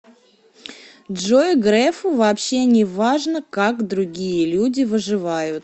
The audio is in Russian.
джой грефу вообще неважно как другие люди выживают